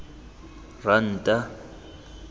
ranta